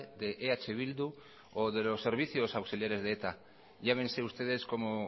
de eh bildu o de los servicios auxiliares de eta llámense ustedes como